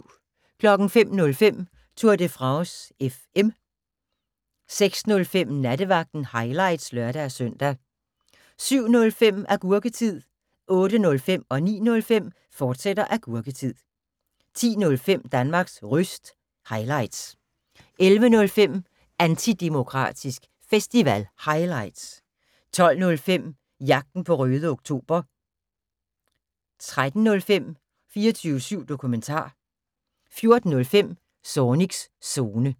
05:05: Tour de France FM 06:05: Nattevagten – highlights (lør-søn) 07:05: Agurketid 08:05: Agurketid, fortsat 09:05: Agurketid, fortsat 10:05: Danmarks Röst – highlights 11:05: Antidemokratisk Festival – highlights 12:05: Jagten på Røde Oktober 13:05: 24syv Dokumentar 14:05: Zornigs Zone